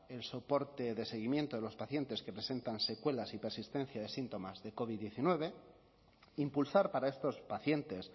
el soporte de seguimiento de los pacientes que presentan secuelas y persistencia de síntomas de covid diecinueve impulsar para estos pacientes